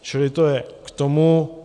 Čili to je k tomu.